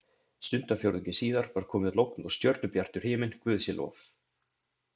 Stundarfjórðungi síðar var komið logn og stjörnubjartur himinn, guði sé lof.